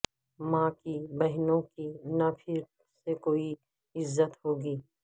ماں کی بہنوں کی نہ پھر سے کوئی عزت ہوگی